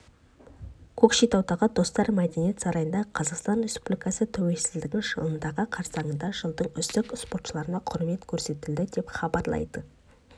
көкшетаудағы достар мәдениет сарайында қазақстан республикасы тәуелсіздігінің жылдығы қарсаңында жылдың үздік спортшыларына құрмет көрсетілді деп хабарлайды